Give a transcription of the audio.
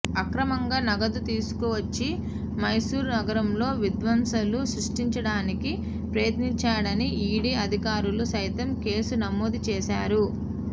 అక్రమంగా నగదు తీసుకు వచ్చి మైసూరు నగరంలో విధ్వంసాలు సృష్టించడానికి ప్రయత్నించాడని ఈడీ అధికారులు సైతం కేసు నమోదు చేశారు